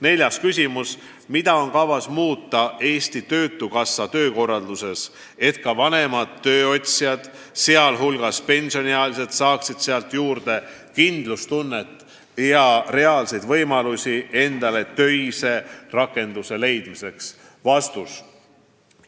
Neljas küsimus: "Mida on kavas muuta Eesti Töötukassa töökorralduses, et ka vanemad tööotsijad, sealhulgas pensioniealised, saaksid sealt juurde kindlustunnet ja reaalseid võimalusi endale töise rakenduse leidmiseks?